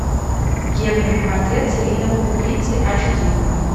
генри портрет серийного убийцы ач ди